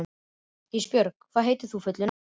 Ísbjörg, hvað heitir þú fullu nafni?